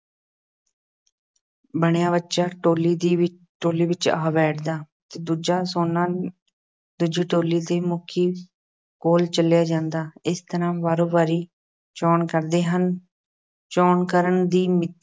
ਬਣਿਆ ਬੱਚਾ ਟੋਲੀ ਦੇ ਵਿੱਚ ਟੋਲੀ ਵਿੱਚ ਆ ਬੈਠਦਾ ਅਤੇ ਦੂਜਾ ਸੋਨਾ ਦੂਜੀ ਟੋਲੀ ਦੇ ਮੁਖੀ ਕੋਲ ਚਲਿਆ ਜਾਂਦਾ। ਇਸ ਤਰ੍ਹਾਂ ਵਾਰੋ-ਵਾਰੀ ਚੋਣ ਕਰਦੇ ਹਨ। ਚੋਣ ਕਰਨ ਦੀ